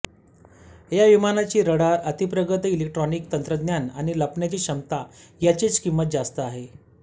या विमानाची रडार अतिप्रगत इलेक्ट्रोनिक तंत्रज्ञान आणि लपण्याची क्षमता याचीच किंमत जास्त आहे